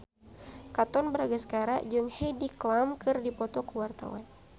Katon Bagaskara jeung Heidi Klum keur dipoto ku wartawan